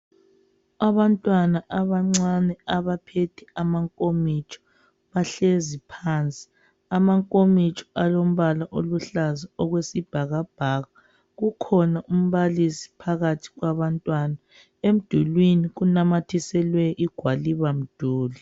Abantwana abancane abaphethe amankomitsho, bahlezi phansi. Amankomitsho alombala oluhlaza okwesibhakabhaka. Kukhona umbalisi phakathi kwabantwana. Emdulwini kunamathiselwe igwaliba-mduli.